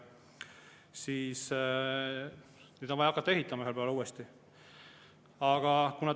Ühel päeval on vaja uuesti hakata ehitama.